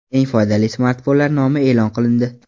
Eng foydali smartfonlar nomi e’lon qilindi.